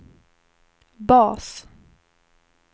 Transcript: bas